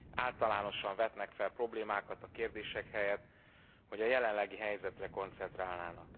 Általánosan vetnek fel problémákat a kérdések helyett, hogy a jelenlegi helyzetre koncentrálnának.